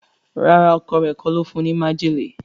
ràrá Ọkọ rẹ kò ló fún ní májèlé.